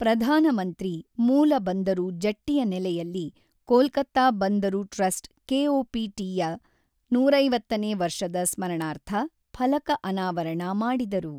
ಪ್ರಧಾನಮಂತ್ರಿ ಮೂಲ ಬಂದರು ಜಟ್ಟಿಯ ನೆಲೆಯಲ್ಲಿ ಕೋಲ್ಕತ್ತಾ ಬಂದರು ಟ್ರಸ್ಟ್ ಕೆಓಪಿಟಿ ಯ ನೂರಐವತ್ತನೇ ವರ್ಷದ ಸ್ಮರಣಾರ್ಥ ಫಲಕ ಅನಾವರಣ ಮಾಡಿದರು.